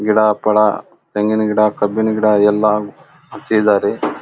ಗಿಡ ಪಳ ತೆಂಗಿನ ಗಿಡ ಕಬ್ಬಿನ ಗಿಡ ಎಲ್ಲಾ ಹಚ್ಚಿದರಿ.